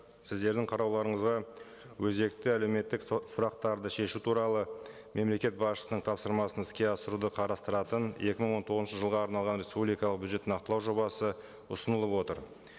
сіздердің қарауларыңызға өзекті әлеуметтік сұрақтарды шешу туралы мемлекет басшысының тапсырмасын іске асыруды қарастыратын екі мың он тоғызыншы жылға арналған республикалық бюджетті нақтылау жобасы ұсынылып отыр